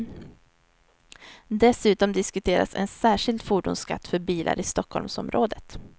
Dessutom diskuteras en särskild fordonsskatt för bilar i stockholmsområdet.